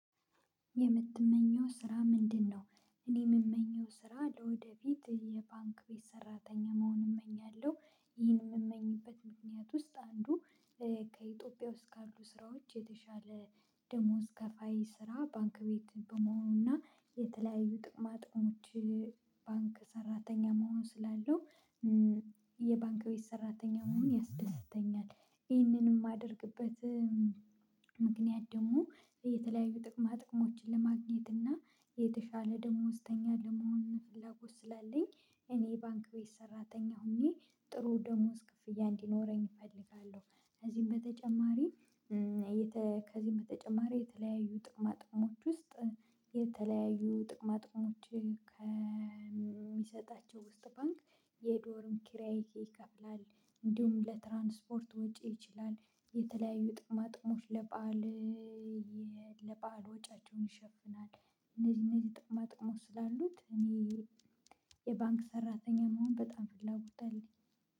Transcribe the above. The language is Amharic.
የምትመኝው ስራ ምንድን ነው? እኔ የምመኘው ስራ ለወደፊት የባንክ ቤት ሰራተኛ መሆን እመኛለሁ ይህም የምመኝበት ምክንያት ውስጥ አንዱ። ከኢትዮጵያ ውስጥ ካሉ ስራዎች የተሻለ ደሞዝ ከፋይ ስራ ባንክ ቤት በመሆኑና የተለያዩ ጥቅማጥቅሞች ባንክ ሰራተኛ መሆን ስላለው የባንክ ቤት ሰራተኛ መሆን ያስደስተኛል። ይህንንም የማደርግበት ምክንያት ደግሞ የተለያዪ ጥቅማጥቅሞች ለማግኝት እና የተሻለ ደሞዝተኛ ለመሆን ፍላጎት ስላለኝ እኔ የባንክ ቤት ሰራተኛ ሆኜ ጥሩ ደሞዝ ክፍያ እንዲኖረኝ እፈልጋለሁ። ከዚህም በተጨማሪ። የተ ከዚህም በተጨማሪ የተለያዩ ጥቅማ ጥቅሞች ውስጥ የተለያዩ ጥቅማ ጥቅሞች ከሚሰጣቸው ውስጥ ባንክ የዶርም ኪራይ ይከፍላል። እንዲሁም ለትራንስፖርት ወጪ ይችላል የተለያዩ ጥቅማጥቅሞች ለበአል ለበአል ወጪያቸውን ይሸፍናል። እነዚህ እነዚህ ጥቅማ ጥቅሞች ስላሉት እኔ የባንክ ሰራተኛ መሆን በጣም ፍላጎት አለኝ።